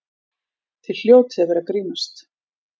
Þið hljótið að vera að grínast!